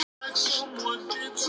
Taktu það með þér núna!